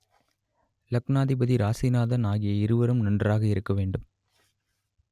லக்னாதிபதி ராசிநாதன் ஆகிய இருவரும் நன்றாக இருக்க வேண்டும்